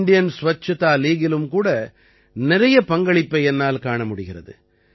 Indian Swachhata Leagueலும் கூட நிறைய பங்களிப்பை என்னால் காண முடிகிறது